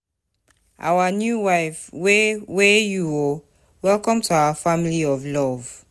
Our new wife we we you oo, welcome to our family of love.